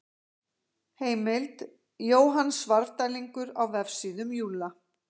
Heimild: Jóhann Svarfdælingur á Vefsíðum Júlla.